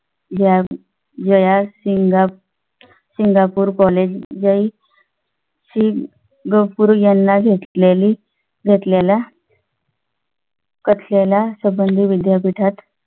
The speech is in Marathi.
घ्या वयास सिंगा सिंगापूर कॉलेजही सिंग गफूर यांना घेतलेली घेतलेल्या कथलेल्या संबंधित विद्यापीठात